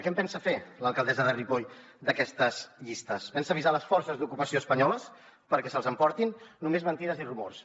què en pensa fer l’alcaldessa de ripoll d’aquestes llistes pensa avisar les forces d’ocupació espanyoles perquè se’ls emportin només mentides i rumors